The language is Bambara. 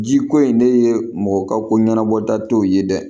Ji ko in ne ye mɔgɔ ka ko ɲanabɔ dat'o ye dɛ